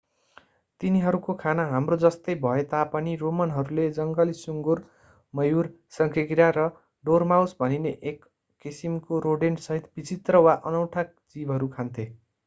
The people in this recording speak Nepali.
तिनीहरूको खाना हाम्रो जस्तै भए तापनि रोमनहरूले जङ्गली सुँगुर मयूर शंखेकिरा र डोरमाउस भनिने एक किसिमको रोडेन्टसहित विचित्र वा अनौठा जीवहरू खान्थे